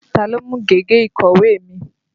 Ta ló mú gègé ìkọ̀wé mi?